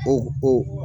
O o